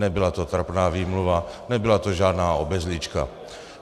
Nebyla to trapná výmluva, nebyla to žádná obezlička.